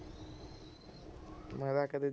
ਮੈਂ ਤਾਂ ਕਦੇ